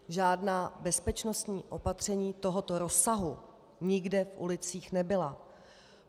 Žádná bezpečnostní opatření tohoto rozsahu nikde v ulicích nebyla.